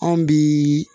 Anw bi